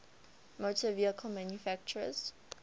motor vehicle manufacturers